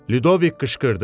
Ludoviq qışqırdı.